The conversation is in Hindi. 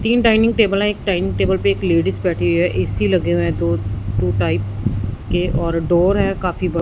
तीन डाइनिंग टेबल हैं एक डाइनिंग टेबल पे एक लेडिज बैठी हुई है ए_सी लगे हुए हैं दो टू टाइप के और डोअर है काफी ब--